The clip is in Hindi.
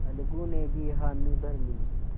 अलगू ने भी हामी भर ली